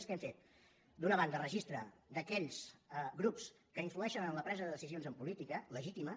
què hem fet d’una banda registre d’aquells grups que influeixen en la presa de decisions en política legítima